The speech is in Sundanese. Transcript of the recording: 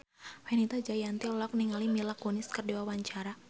Fenita Jayanti olohok ningali Mila Kunis keur diwawancara